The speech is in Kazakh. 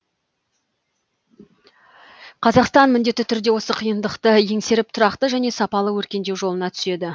қазақстан міндетті түрде осы қиындықты еңсеріп тұрақты және сапалы өркендеу жолына түседі